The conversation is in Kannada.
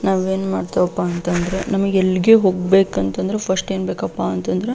ನಾವ್ ಏನ್ ಮಾಡ್ತೇವಪ್ಪ ಅಂತಂದ್ರ ನಮಿಗ್ ಎಲ್ಲಿಗೆ ಹೋಗ್ಬೇಕಂತಂದ್ರ ಫಸ್ಟ್ ಏನ್ ಬೇಕಪ್ಪ ಅಂತಂದ್ರ --